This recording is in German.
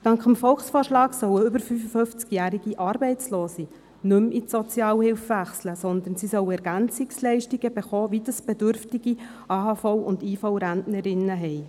Dank dem Volksvorschlag sollen über 55-jährige Arbeitslose nicht mehr in die Sozialhilfe wechseln, sondern EL erhalten, wie sie bedürftige AHV- und IV-Rentnerinnen haben.